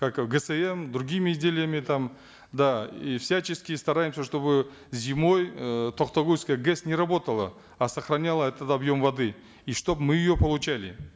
как гсм другими изделиями там да и всячески стараемся чтобы зимой э токтагульская гэс не работала а сохраняла этот объем воды и чтобы мы ее получали